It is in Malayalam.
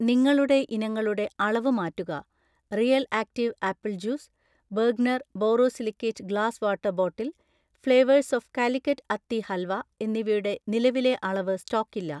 നിങ്ങളുടെ ഇനങ്ങളുടെ അളവ് മാറ്റുക. Real active apple juice, Bergner borosilicate glass water bottle, flavours of Calicut അത്തി ഹൽവ എന്നിവയുടെ നിലവിലെ അളവ് സ്റ്റോക്കില്ല